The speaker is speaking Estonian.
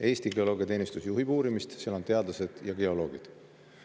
Eesti Geoloogiateenistus juhib uurimist, seal on teadlased ja geoloogid.